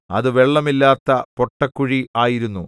അത് വെള്ളമില്ലാത്ത പൊട്ടക്കുഴി ആയിരുന്നു